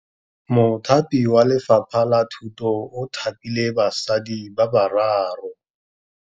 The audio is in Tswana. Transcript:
Mothapi wa Lefapha la Thutô o thapile basadi ba ba raro.